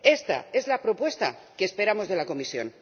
Esta es la propuesta que esperamos de la Comisión.